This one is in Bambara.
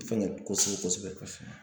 Fɛngɛ kosɛbɛ kosɛbɛ